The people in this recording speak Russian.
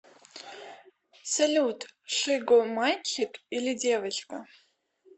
салют шиго мальчик или девочка